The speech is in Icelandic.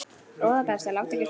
Góða besta láttu ekki svona!